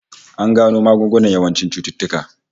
An gano magungunan yawancin cututtuka